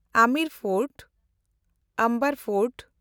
Amer fort (Amber fort)